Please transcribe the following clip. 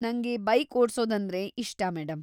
ನಂಗೆ ಬೈಕ್‌ ಓಡ್ಸೋದಂದ್ರೆ ಇಷ್ಟ, ಮೇಡಂ.